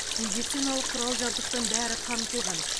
медициналық құрал жабдықтың бәрі қамтылған